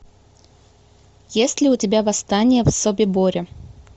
есть ли у тебя восстание в собиборе